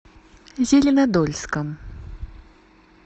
зеленодольском